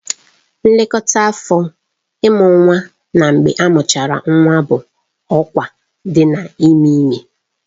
Nlekọta afọ, Ịmụ nwa na mgbe amuchara nwa bụ ọkwa dị n'ime ime